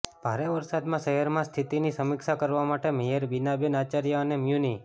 ભારે વરસાદમાં શહેરમાં સ્થિતિની સમીક્ષા કરવા માટે મેયર બીનાબેન આચાર્ય અને મ્યુનિ